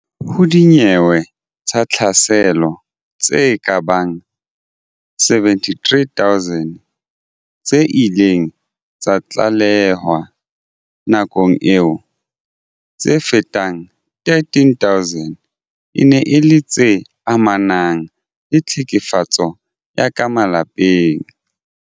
Ho dinyewe tsa tlhaselo tse kabang 73 000 tse ileng tsa tlalehwa nakong eo, tse fetang 13000 e ne e le tse amanang le tlhekefetso ya ka malapeng.